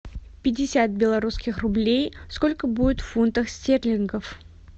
пятьдесят белорусских рублей сколько будет в фунтах стерлингов